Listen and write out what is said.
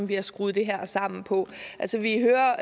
vi har skruet det her sammen på altså vi hører